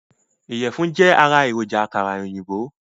Iyẹ̀fun jẹ́ ará èròjà àkàrà òyìnbó